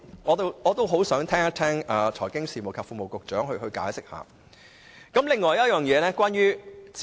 我很想聽財經事務及庫務局局長解釋一下。